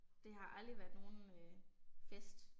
Det har aldrig været nogen øh fest